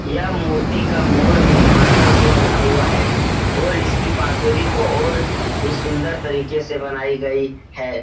यह मूर्ति का मोर भी मार्बल से बना हुआ है और इसकी बांसुरी तो और भी सुंदर तरीके से बनाई गई है।